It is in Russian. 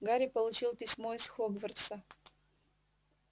гарри получил письмо из хогвартса